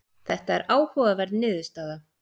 Þetta er áhugaverð niðurstaða.